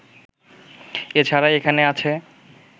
এ ছাড়া এখানে আছে